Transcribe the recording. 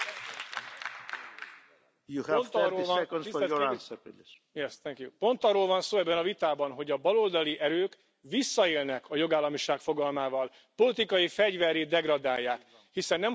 Pont arról van szó ebben a vitában, hogy a baloldali erők visszaélnek a jogállamiság fogalmával, politikai fegyverré degradálják, hiszen nem hajlandók elfogadni semmilyen más politikai véleményt vagy álláspontot a sajátjukon kívül.